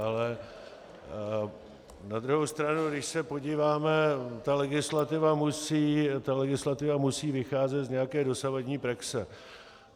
Ale na druhou stranu, když se podíváme, ta legislativa musí vycházet z nějaké dosavadní praxe.